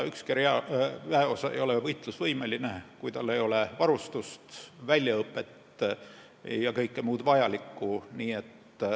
Ükski väeosa ei ole võitlusvõimeline, kui tal ei ole varustust, väljaõpet ja kõike muud vajalikku.